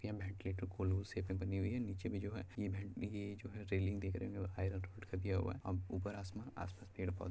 यह वेंटीलेटर कोल्हू शेप में बनी हुई है नीचे में जो है ये जो है रेलिंग दिख रही है